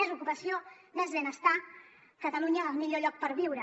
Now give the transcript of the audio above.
més ocupació més benestar catalunya el millor lloc per viure